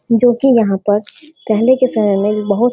जो कि यहाँ पर पहले के समय में बोहुत --